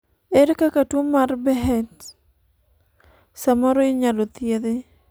ere kaka tuo mar Behcet samoro inyalo thiedhi?